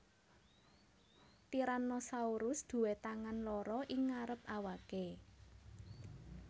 Tyrannosaurus duwé tangan loro ing ngarep awake